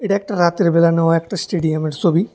একটা রাতের বেলা নেওয়া একটা স্টেডিয়ামের ছবি।